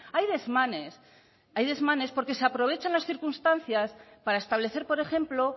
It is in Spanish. hay desmanes hay desmanes porque se aprovechan las circunstancias para establecer por ejemplo